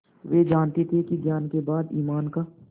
वे जानते थे कि ज्ञान के बाद ईमान का